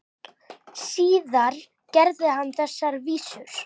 Síðar gerði hann þessar vísur